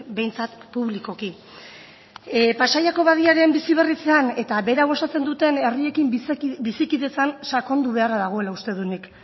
behintzat publikoki pasaiako badiaren biziberritzean eta berau osatzen duten herriekin bizikidetzan sakondu beharra dagoela uste dut nik